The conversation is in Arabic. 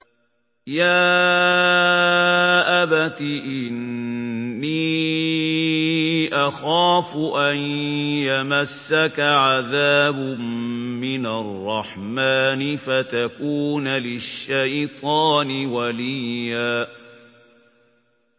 يَا أَبَتِ إِنِّي أَخَافُ أَن يَمَسَّكَ عَذَابٌ مِّنَ الرَّحْمَٰنِ فَتَكُونَ لِلشَّيْطَانِ وَلِيًّا